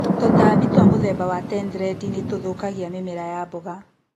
Tũtambi twa mũthemba wa tenthrendi nĩtũthũkagia mĩmera ya mboga.